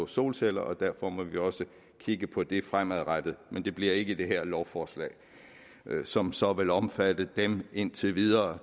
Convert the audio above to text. solceller og derfor må vi også kigge på det fremadrettet men det bliver ikke i det her lovforslag som så vil omfatte dem indtil videre